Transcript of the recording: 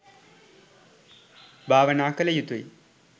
භාවනා කළ යුතුයි.